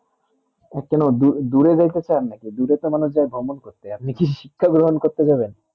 এ কেনো দূরে যাতে চাইয়েন না কি দূরে তো যায় ভ্রমণ করতে আপনি কি শিক্ষা গ্রহণ করতে যাবে